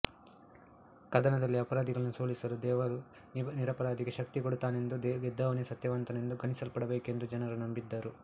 ಕದನದಲ್ಲಿ ಅಪರಾಧಿಯನ್ನು ಸೋಲಿಸಲು ದೇವರು ನಿರಪರಾಧಿಗೆ ಶಕ್ತಿ ಕೊಡುತ್ತಾನೆಂದೂ ಗೆದ್ದವನೇ ಸತ್ಯವಂತನೆಂದು ಗಣಿಸಲ್ಪಡಬೇಕೆಂದೂ ಜನ ನಂಬಿದ್ದರು